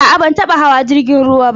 A'a, ban taba hawa jrigin ruwa ba.